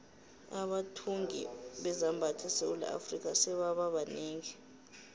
abathungi bezambatho esewula afrika sebaba banengi